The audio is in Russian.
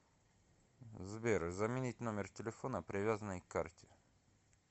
сбер заменить номер телефона привязанный к карте